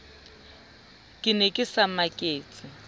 ke ne ke sa maketse